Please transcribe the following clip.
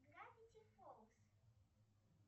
гравити фолз